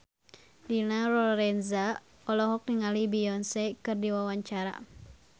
Dina Lorenza olohok ningali Beyonce keur diwawancara